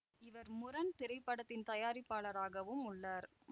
இவர் முரண் திரைப்படத்தின் தயாரிப்பாளராகவும் உள்ளார்